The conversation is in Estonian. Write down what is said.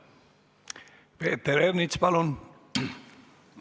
Peeter Ernits, palun!